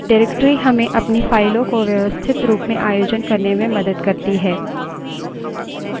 directory हमें अपनी फाइलों को व्यवस्थित रूप में आयोजन करने में मदद करती है